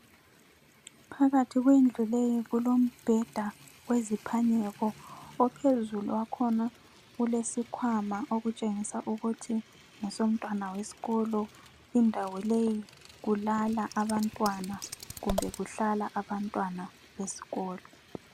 Phakathi kwendlu leyi kulombheda weziphanyeko, ophezulu wakhona ulesikhwama okutshengisa ukuthi ngesomntwana wesikolo. Indawo leyi kulala abantwana kumbe kuhlala abantwana besikolo.